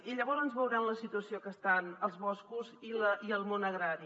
i llavors veuran la situació en què estan els boscos i el món agrari